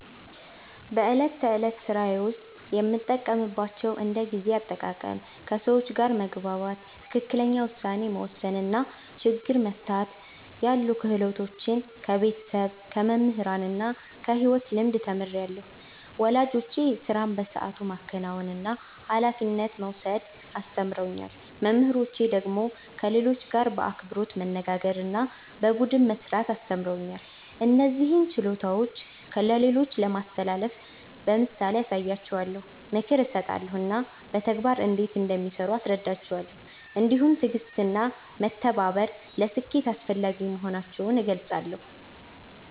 በዕለት ተዕለት ሥራዬ ውስጥ የምጠቀምባቸውን እንደ ጊዜ አጠቃቀም፣ ከሰዎች ጋር መግባባት፣ ትክክለኛ ውሳኔ መወሰን እና ችግር መፍታት ያሉ ክህሎቶች ከቤተሰብ፣ ከመምህራን እና ከሕይወት ልምድ ተምሬአለሁ። ወላጆቼ ሥራን በሰዓቱ ማከናወንና ኃላፊነት መውሰድ አስተምረውኛል። መምህራኖቼ ደግሞ ከሌሎች ጋር በአክብሮት መነጋገርና በቡድን መሥራት አስተምረውኛል። እነዚህን ችሎታዎች ለሌሎች ለማስተላለፍ በምሳሌ አሳያቸዋለሁ፣ ምክር እሰጣለሁ እና በተግባር እንዴት እንደሚሠሩ አስረዳቸዋለሁ። እንዲሁም ትዕግሥትና መተባበር ለስኬት አስፈላጊ መሆናቸውን እገልጻለሁ።